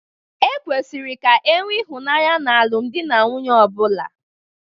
Ekwesiri ka enwee ịhụnanya na alụmdi na nwunye ọbụla.